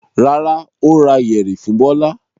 Rárá, ó ra yẹ̀rì fún Bọ́lá.